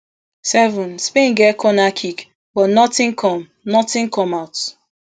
seven spain get corner kick but notin come notin come out